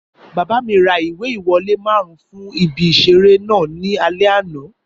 Bàbá mi ra ìwé ìwọlé márùn fún ibi ìseré náà ní alé àná